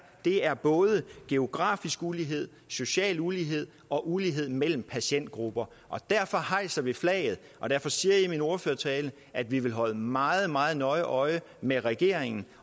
er både geografisk ulighed social ulighed og ulighed mellem patientgrupper derfor hejser vi flaget og derfor siger jeg i min ordførertale at vi vil holde meget meget nøje øje med regeringen